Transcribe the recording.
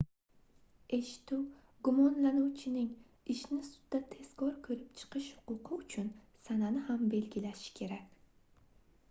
eshituv gumonlanuvchining ishni sudda tezkor koʻrib chiqish huquqi uchun sanani ham belgilashi kerak